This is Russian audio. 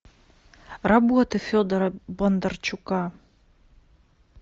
работы федора бондарчука